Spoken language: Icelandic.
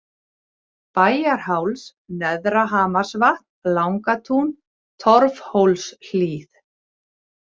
Bæjarháls, Neðra-Hamarsvatn, Langatún, Torfhólshlíð